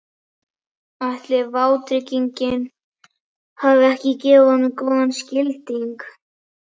Ætli vátryggingin hafi ekki gefið honum góðan skilding?